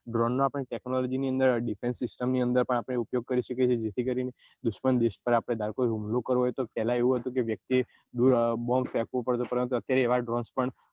drone ના technology ની અંદર deffence system ની અંદર પણ આપને ઉપયોગ કરી શકીએ છીએ જેથી કરી ને દુશ્મન હુમલો કરે પેલાં એવું હતું કે વ્યક્તિ એ bomb ફેકવો પડે છે પરંતુ એવા drones પણ